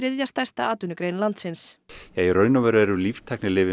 þriðja stærsta atvinnugrein landsins í raun og veru eru